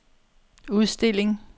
udstilling